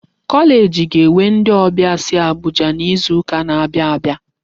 Kọleeji ga-enwe ndị ọbịa si Abuja n'izuka n'abia abịa.